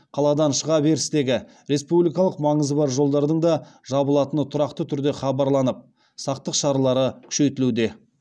қаладан шыға берістегі республикалық маңызы бар жолдардың да жабылатыны тұрақты түрде хабарланып сақтық шаралары күшейтілуде